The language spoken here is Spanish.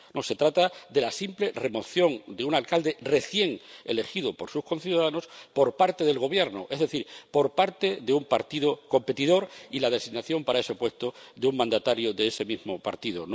No, se trata de la simple remoción de un alcalde, recién elegido por sus conciudadanos, por parte del Gobierno, es decir, por parte de un partido competidor, y la designación para ese puesto de un mandatario de ese mismo partido.